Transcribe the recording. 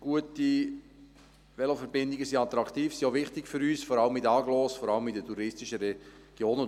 Gute Veloverbindungen sind attraktiv und wichtig für uns, vor allem in den Agglomerationen und in den touristischen Regionen.